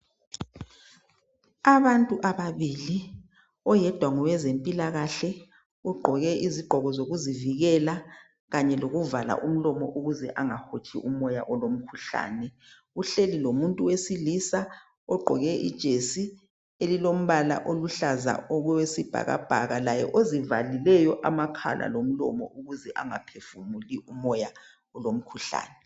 abantu ababili oyedwa ngowezempilakahle ugqoke izigqoko zokuzivikela kanye lokuvala umlomo ukuze angahotshi umoya olomkhuhlane uhleli lomuntu wesilisa ogqoke ijesi elilombala oluhlaza okwesibhakabhaka laye ozivalileyo amakhala lomlomo ukuze angaphefumuli umoya olomkhuhlane